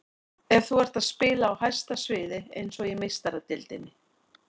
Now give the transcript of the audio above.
Ef þú ert að spila á hæsta sviði, eins og í Meistaradeildinni.